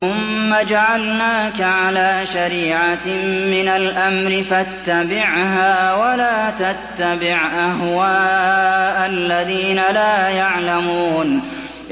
ثُمَّ جَعَلْنَاكَ عَلَىٰ شَرِيعَةٍ مِّنَ الْأَمْرِ فَاتَّبِعْهَا وَلَا تَتَّبِعْ أَهْوَاءَ الَّذِينَ لَا يَعْلَمُونَ